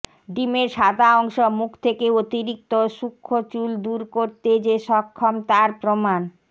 ডিমের সাদা অংশ মুখ থেকে অতিরিক্ত সূক্ষ্ম চুল দূর করতে যে সক্ষম তার প্রমাণ